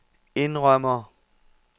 indrømmer